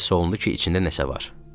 Hiss olundu ki, içində nəsə var.